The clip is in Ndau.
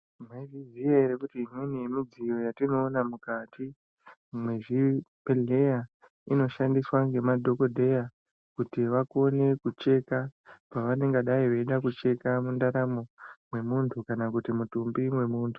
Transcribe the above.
Mayizvi ziya here kuti imweni yemidziyo yataiona muzvibhedhlera inoshandiswa nemadhokodheya kuti kone kucheka pavanenge veida kucheka pavanonga veida kucheka mundaramo yemuntu kana kuti mutumbi mwemuntu .